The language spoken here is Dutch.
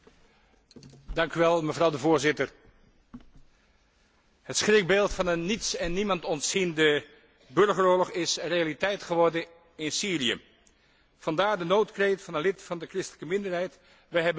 Voorzitter, het schrikbeeld van een niets en niemand ontziende burgeroorlog is realiteit geworden in Syrië, vandaar de noodkreet van een lid van de christelijke minderheid wij hebben niemand die ons beschermt.